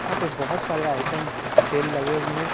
यहां पे बहुत सारे आइटम सेल लगे हुए हैं।